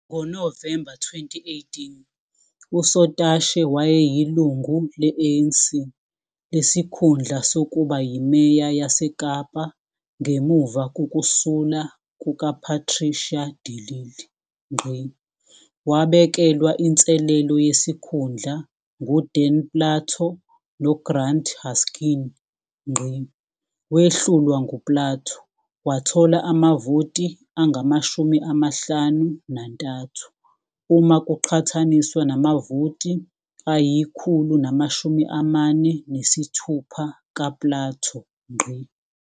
NgoNovemba 2018, uSotashe wayelilungu le-ANC lesikhundla sokuba yiMeya yaseKapa ngemuva kokusula kukaPatricia de Lille. Wabekelwa inselelo yesikhundla nguDan Plato noGrant Haskin. Wehlulwa nguPlato, wathola amavoti angama-53 uma kuqhathaniswa namavoti angu-146 kaPlato.